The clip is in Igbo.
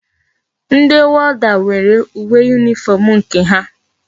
Ndi warder nwere uwe uniform nke ha